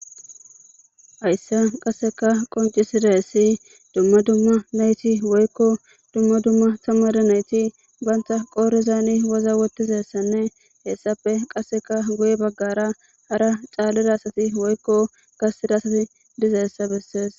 Haysa qasekka qoncisidaysi dumma dumma nayti woyko dumma dumma tamare nayti banta qodhezani waza wotidaysanne etape qasekka guye bagara hara calida asati woyko garsera asati dizaysa besese